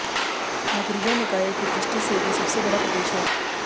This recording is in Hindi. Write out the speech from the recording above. नगरीय निकायों की दृष्टि से भी सबसे बड़ा प्रदेश है